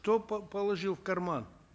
кто положил в карман